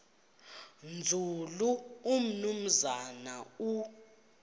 nzulu umnumzana u